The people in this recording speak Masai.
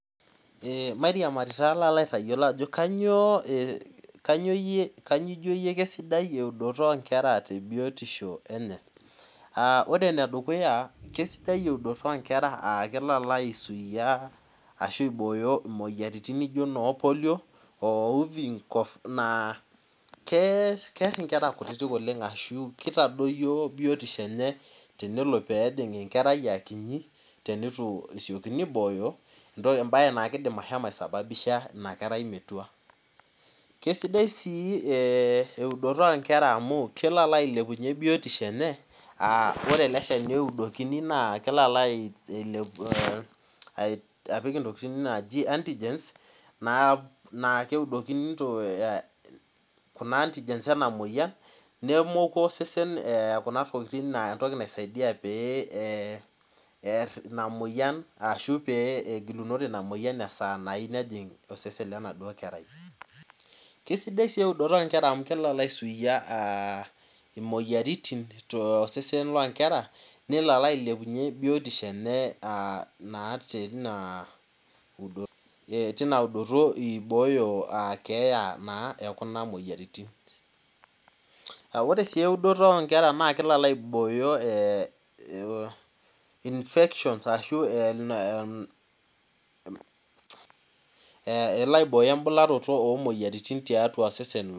Ee mairemari palo aitayiolo ajo kanyio ijo kesidai eudoto nkera tebiotisho enye aa ore enedukuya na kesida eudoto onkera amu kelo aisuia moyiaritin naijo polio naakeer nkera kutitik ashu kitadoyio biotisho enye aa akiti ebae na kidim ashomo aisababisha inakerai metua kesidai si eudoto inkera amu keli ailepunye biotisho enye kelo apik ntokitin naji antigens enamoyian nemoku osesen kunatokitin entoki naisaidia oear inamoyian ashu pegilunye inamoyian kesidai si eudoto onkera amu kisuiai imoyiaritin tosesen lonkera nelo ailepenye biotisho enye ibooyo kuna moyiaritin ore si eudoto onkera na kelo aibooyo infections elo aibooyo embularoto imoyiaritin tiatua osesen